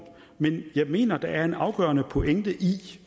men jeg mener der er en afgørende pointe i